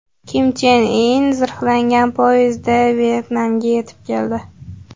Kim Chen In zirhlangan poyezdda Vyetnamga yetib keldi.